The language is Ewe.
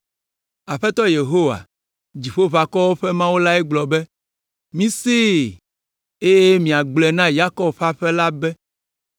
Aƒetɔ Yehowa, Dziƒoʋakɔwo ƒe Mawu la gblɔ be, “Misee, eye miagblɔe na Yakob ƒe aƒe la be: